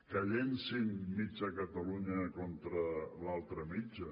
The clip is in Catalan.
que llencin mitja catalunya contra l’altra mitja